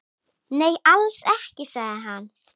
Nei, alls ekki, sagði hann.